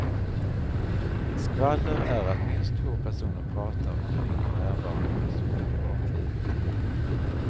Skvaller är att minst två personer pratar om en icke närvarande persons privatliv.